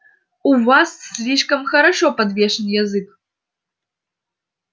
у вас слишком хорошо подвешен язык